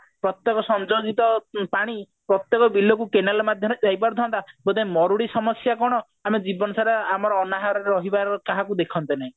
ପ୍ରତ୍ୟକ ସଞ୍ଜୋଜିତ ପାଣି ପ୍ରତ୍ୟକ ବିଲକୁ canal ମାଧ୍ୟମରେ ଯାଇ ପାରୁଥାନ୍ତା ତେବେ ମରୁଡି ସମସ୍ଯା କଣ ଆମେ ଜୀବନ ସାରା ଆମର ଅନାହାର ରହିବାକୁ କାହାକୁ ଦେଖନ୍ତେ ନି